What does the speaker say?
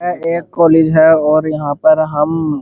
यह एक कॉलेज है और यहाँ पर हम --